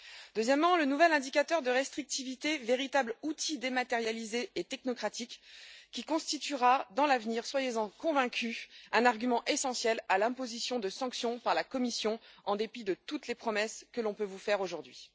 deuxièmement, le nouvel indicateur de restrictivité, véritable outil dématérialisé et technocratique qui constituera à l'avenir soyez en convaincus un argument essentiel en faveur de l'imposition de sanctions par la Commission, en dépit de toutes les promesses que l'on peut vous faire aujourd'hui